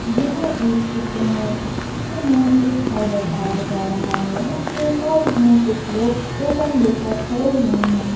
यह एक चित्र है इस चित्र में एक घर बताया जा रहा है उसके साइड में कुछ लोग टोकन लेकर खड़े हुए हैं।